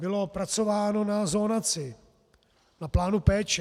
Bylo pracováno na zonaci, na plánu péče.